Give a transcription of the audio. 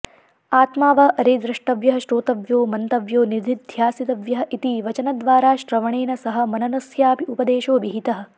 आत्मा वा अरे द्रष्टव्यः श्रोतव्यो मन्तव्यो निदिध्यासितव्यः इति वचनद्वारा श्रवणेन सह मननस्यापि उपदेशो विहितः